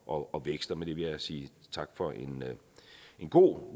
og vækst og med det vil jeg sige tak for en god